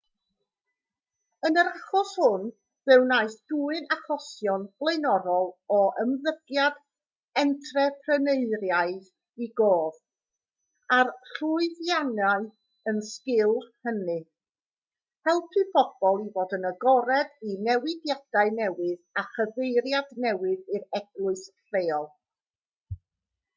yn yr achos hwn fe wnaeth dwyn achosion blaenorol o ymddygiad entrepreneuraidd i gof a'r llwyddiannau yn sgil hynny helpu pobl i fod yn agored i newidiadau newydd a chyfeiriad newydd i'r eglwys leol